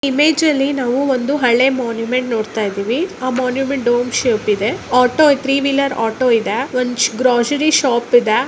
Image ಅಲ್ಲಿ ನಾವು ಹಳೆ ಮಾನ್ಯುಮೆಂಟ್ ನೋಡತಾ ಇದೀವಿ ಆ ಮಾನ್ಯುಮೆಂಟ್ ಡೋಮ ಶೇಪ್ ಇದೆ ಆಟೋ ಥ್ರೀ ವೀಲರ್ ಆಟೋ ಇದೆ ಒಂದು ಗ್ರೋಸರಿ ಶಾಪ ಇದೆ.